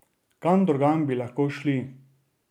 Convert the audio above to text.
Kam drugam bi lahko šli?